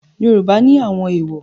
Yoruba ni àwọn èwò.